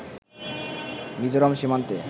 মিজোরাম সীমান্তে